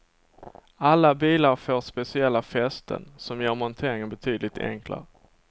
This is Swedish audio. Alla bilar får speciella fästen, som gör monteringen betydligt enklare.